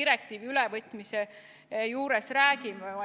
direktiivi ülevõtmise puhul räägime.